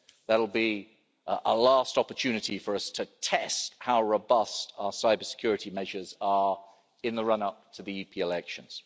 That'll be a last opportunity for us to test how robust our cybersecurity measures are in the run up to the EP elections.